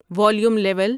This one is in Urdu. volume level